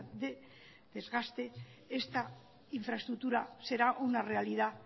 de desgaste esta infraestructura será una realidad